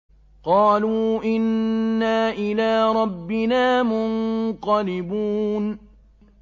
قَالُوا إِنَّا إِلَىٰ رَبِّنَا مُنقَلِبُونَ